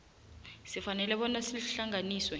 sifanele bona sihlanganiswe